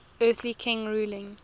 earthly king ruling